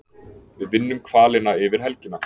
Við vinnum hvalina yfir helgina